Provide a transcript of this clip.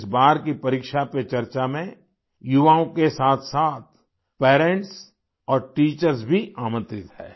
इस बार की परीक्षा पे चर्चा में युवाओं के साथसाथ पेरेंट्स और टीचर्स भी आमंत्रित है